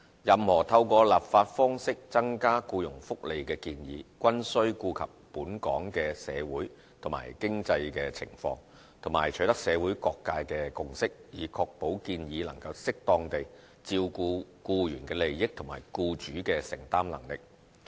任何透過立法方式增加僱傭福利的建議，均須顧及本港的社會及經濟情況，和取得社會各界的共識，以確保建議能適當地照顧僱員的利益及僱主的承擔能力。